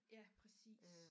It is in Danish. Ja præcis